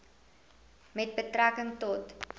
met betrekking tot